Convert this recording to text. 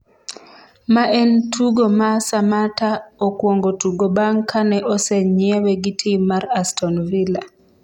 ma en tugo ma Samata okuongo tugo bang' ka osenyiewe gi tim mar Aston Villa